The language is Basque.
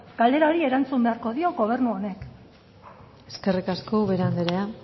galdera horri erantzun beharko dio gobernu honek eskerrik asko ubera andreea